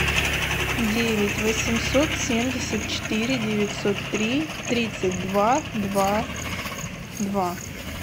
девять восемьсот семьдесят четыре девятьсот три тридцать два два два